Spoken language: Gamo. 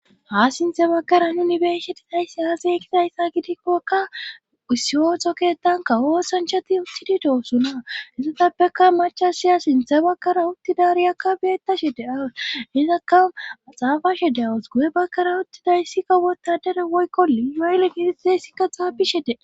haa sinthe bakkara nuni besetizayssi aasay kizayssa gidikkokka ussiyoxoketankawoosanchati uttididoosuna sizatappeka machasiya sinthe bakkara uttidariyakka beetta she de aws hizakka maxaafashe de awus gu7e bakkara uttidayssi kawota dere woykkoli yaylle gidizessikka xaapi shede